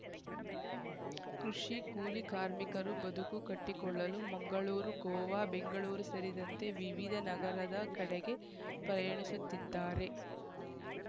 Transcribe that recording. ಕೃಷಿ ಕೂಲಿಕಾರ್ಮಿಕರು ಬದುಕು ಕಟ್ಟಿಕೊಳ್ಳಲು ಮಂಗಳೂರು ಗೋವಾ ಬೆಂಗಳೂರು ಸೇರಿದಂತೆ ವಿವಿಧ ನಗರದ ಕಡೆಗೆ ಪಯಾಣಿಸುತ್ತಿದ್ದಾರೆ